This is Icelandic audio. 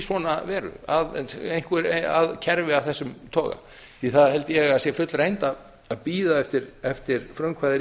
svona að kerfi af þessu toga því það held ég að sé fullreynt að bíða eftir frumkvæði